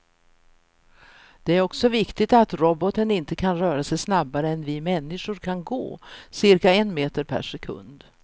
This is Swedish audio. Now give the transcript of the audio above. Det är också viktigt att roboten inte kan röra sig snabbare än vi människor kan gå, cirka en meter per sekund.